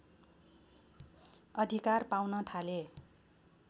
अधिकार पाउन थाले